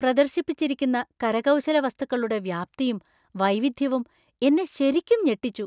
പ്രദർശിപ്പിച്ചിരിക്കുന്ന കരകൗശല വസ്തുക്കളുടെ വ്യാപ്തിയും, വൈവിധ്യവും എന്നെ ശരിക്കും ഞെട്ടിച്ചു.